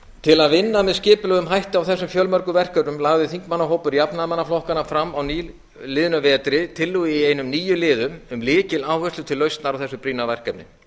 til að vinna með skipulegum hætti að þessum fjölmörgu verkefnum lagði þingmannahópur jafnaðarmannaflokkanna fram á nýliðnum vetri tillögu í einum níu liðum um lykiláherslur til lausnar á þessu brýna verkefni